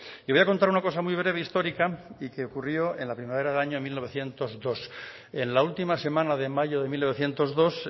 y voy a contar una cosa muy breve histórica y que ocurrió en la primavera del año mil novecientos dos en la última semana de mayo de mil novecientos dos